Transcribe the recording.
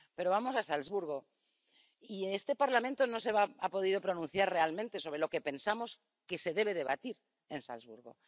Pero vamos a Salzburgo, y este Parlamento no se ha podido pronunciar realmente sobre lo que pensamos que se debe debatir en Salzburgo.